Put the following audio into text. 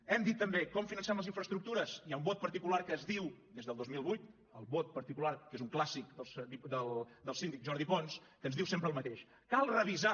hem dit també com financem les infraestructures hi ha un vot particular que es diu des del dos mil vuit el vot particular que és un clàssic del síndic jordi pons que ens diu sempre el mateix cal revisar